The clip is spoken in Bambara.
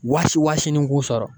Waasi waasinin k'u sɔrɔ